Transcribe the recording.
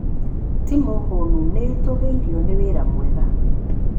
Timu hũnu nĩ ĩtũgĩirio nĩ wĩra mwega